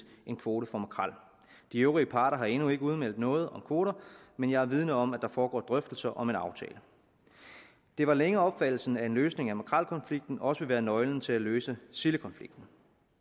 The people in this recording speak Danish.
en kvote for makrel de øvrige parter har endnu ikke udmeldt noget om kvoter men jeg er vidende om at der foregår drøftelser om en aftale det var længe opfattelsen at en løsning af makrelkonflikten også ville være nøglen til at løse sildekonflikten